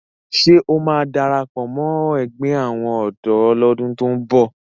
Ṣé ó máa darapọ̀ mọ ẹgbẹ́ àwọn ọ̀dọ́ lọ́dún tó ń bọ̀?